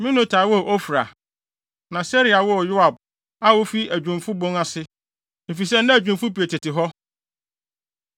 Meonotai woo Ofra. Na Seraia woo Yoab a ofii Adwumfo Bon ase, efisɛ na adwumfo pii tete hɔ.